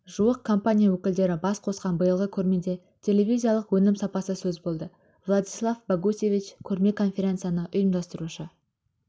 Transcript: жуық компания өкілдері бас қосқан биылғы көрмеде телевизиялық өнім сапасы сөз болды владислав богусевич көрме-конференцияны ұйымдастырушы